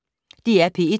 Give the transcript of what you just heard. DR P1